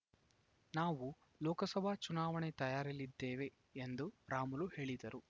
ನಾವು ಲೋಕಸಭಾ ಚುನಾವಣೆ ತಯಾರಿಯಲ್ಲಿದ್ದೇವೆ ಎಂದು ರಾಮುಲು ಹೇಳಿದರು